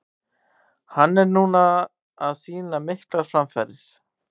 Hann er núna að sýna miklar framfarir.